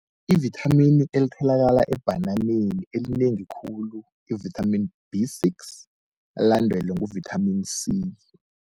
Ivithamini elitholakala ebhananeni elinengi khulu i-vitamin B six, alandelwe ngu-vitamin C.